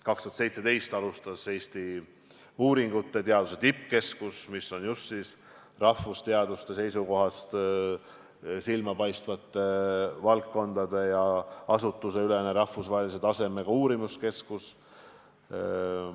2017. aastal alustas tööd Eesti-uuringute tippkeskus, mis on just rahvusteaduste silmapaistvate valdkondade uurimiseks loodud asutusteülene rahvusvahelise tasemega üksus.